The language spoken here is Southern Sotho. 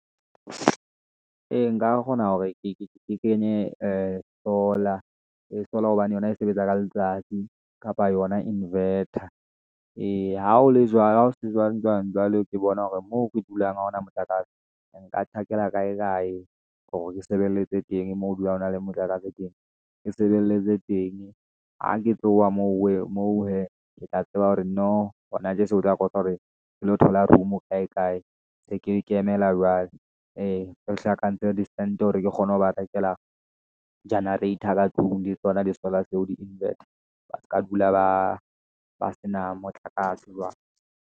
Ee, nka kgona hore ke kenye Solar, Solar hobane yona e sebetsa ka letsatsi kapa yona invetor. Eya ha ho se jwang jwang jwale ke bona hore moo re dulang ha hona motlakase. Nka tjhakela kae kae hore ke sebeletse teng moo dulang hona le motlakase teng, ke sebeletse teng ha ke tloha moo hee ke tla tseba hore no o tla kopa hore ke lo thola room kae kae, be ke ]?] jwale. Ee, re hlakantse hore ke kgone ho ba rekela generator ka tlung le tsona le di-solar tseo le di-invetor ba se ka dula ba ba sena motlakase jwale.